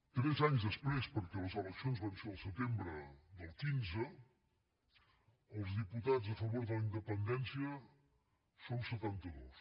tres anys després perquè les eleccions van ser el setembre del quinze els diputats a favor de la independència som setanta dos